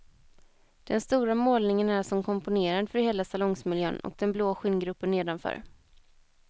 Den stora målningen är som komponerad för hela salongsmiljön och den blå skinngruppen nedanför.